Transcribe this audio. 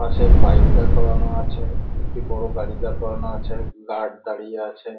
পাশে বাইক দাঁড় করানো আছে একটি বড় গাড়ি দাঁড় করানো আছে গার্ড দাঁড়িয়ে আছে।